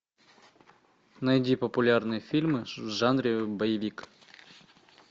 найди популярные фильмы в жанре боевик